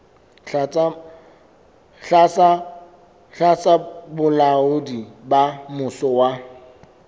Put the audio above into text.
tlasa bolaodi ba mmuso wa